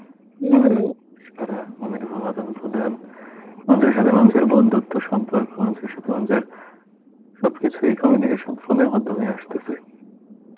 মানুষের সাথে মানুষের বন্ধুত্ব সম্পর্ক মানুষের সাথে মানুষের সবকিছুই communication ফোনের মাধ্যমে আসতেছে